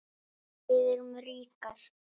Við erum ríkar